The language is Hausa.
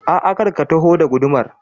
A'a, kar ka taho da gudumar